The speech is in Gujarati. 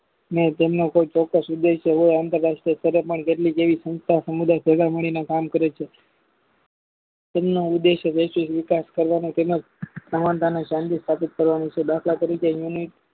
ને તેમના કોઈ ચોક્કસ ઉદેશ્ય હોય સંસ્થા સમુદાય ભેગા મળીને કામ કરે છે તેમના ઉદેશ્યો વ્યવસ્થિત વિકાસ કરવાનો તેમજ સ્થાપિત કરવાનું છે દાખલ તરીકે